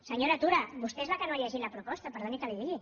senyora tura vostè és la que no ha llegit la proposta perdoni que li ho digui